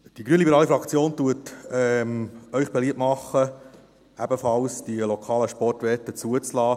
Die grünliberale Fraktion macht Ihnen beliebt, die lokalen Sportwetten ebenfalls zuzulassen.